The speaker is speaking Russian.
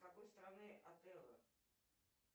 из какой страны отелло